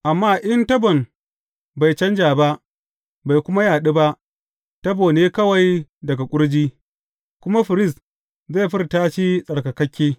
Amma in tabon bai canja ba, bai kuma yaɗu ba, tabo ne kawai daga ƙurji, kuma firist zai furta shi tsarkakakke.